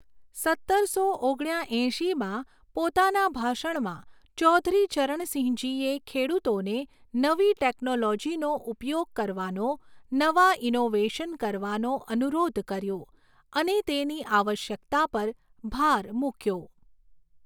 સત્તરસો ઓગણ્યા એંશીમાં પોતાના ભાષણમાં ચૌધરી ચરણસિંહજીએ ખેડૂતોને નવી ટેક્નોલોજીનો ઉપયોગ કરવાનો, નવા ઇનોવેશન કરવાનો અનુરોધ કર્યો, અને તેની આવશ્યકતા પર ભાર મૂક્યો.